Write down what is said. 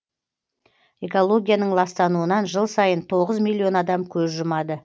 экологияның ластануынан жыл сайын тоғыз миллион адам көз жұмады